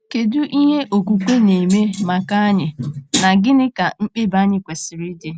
Kedu ihe okwukwe na-eme maka anyị, na gịnị ka mkpebi anyị kwesịrị ịdị?